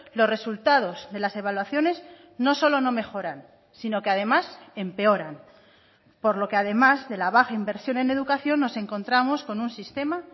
los resultados de las evaluaciones no solo no mejoran sino que además empeoran por lo que además de la baja inversión en educación nos encontramos con un sistema